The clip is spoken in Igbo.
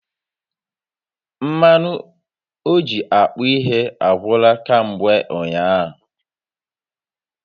Mmanụ oji akpụ ihe agwụla kamgbe ụnyaahụ